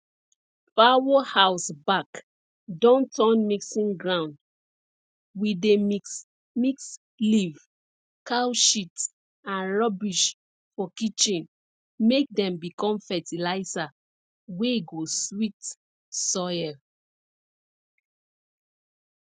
fowl house back don turn mixing ground we dey mix mix leaf cow shit and rubbish for kitchen make dem become fertilizer wey go sweet soil